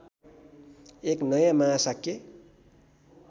एक नयाँ महाशाक्य